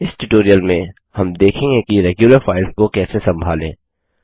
इस ट्यूटोरियल में हम देखेंगे कि रेग्यूलर फाइल्स को कैसे संभालें